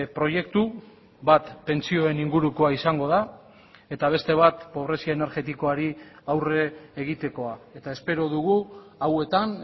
proiektu bat pentsioen ingurukoa izango da eta beste bat pobrezia energetikoari aurre egitekoa eta espero dugu hauetan